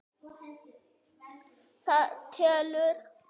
Það telur.